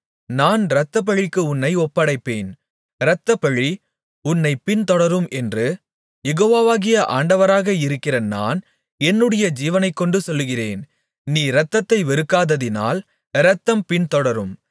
நான் இரத்தப்பழிக்கு உன்னை ஒப்படைப்பேன் இரத்தப்பழி உன்னைப் பின்தொடரும் என்று யெகோவாகிய ஆண்டவராக இருக்கிற நான் என்னுடைய ஜீவனைக்கொண்டு சொல்லுகிறேன் நீ இரத்தத்தை வெறுக்காததினால் இரத்தம் பின்தொடரும்